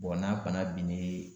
Bɔn n'a bana binnen